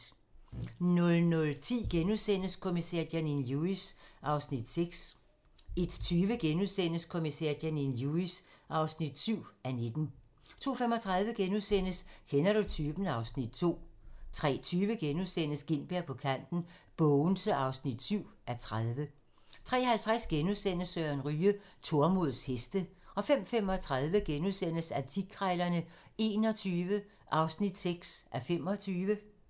00:10: Kommissær Janine Lewis (6:19)* 01:20: Kommissær Janine Lewis (7:19)* 02:35: Kender du typen? (Afs. 5)* 03:20: Gintberg på kanten - Bogense (7:30)* 03:50: Søren Ryge: Tormods heste * 05:35: Antikkrejlerne XXI (6:25)*